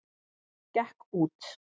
Gekk út!